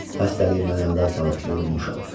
Xəstəliyin məni əldən salıb yorulmuşam.